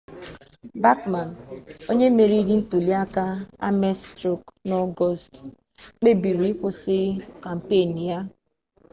bakman onye meriri ntuliaka ames strọ n'ọgọọst kpebiri ịkwụsị kampen ya